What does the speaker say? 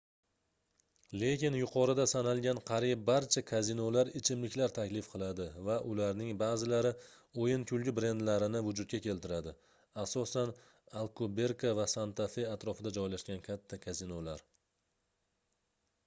lekin yuqorida sanalgan qariyb barcha kazinolar ichimliklar taklif qiladi va ularning ba'zilari o'yin-kulgi brendlarini vujudga keltiradi asosan alkuberka va santa-fe atrofida joylashgan katta kazinolar